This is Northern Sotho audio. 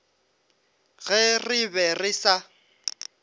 ge re be re sa